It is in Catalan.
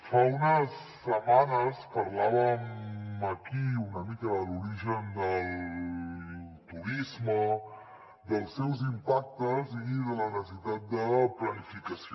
fa unes setmanes parlàvem aquí una mica de l’origen del turisme dels seus impactes i de la necessitat de planificació